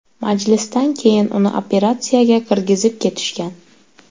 Majlisdan keyin uni operatsiyaga kirgizib ketishgan.